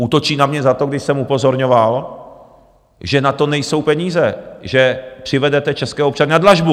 Útočí na mě za to, když jsem upozorňoval, že na to nejsou peníze, že přivedete české občany na dlažbu.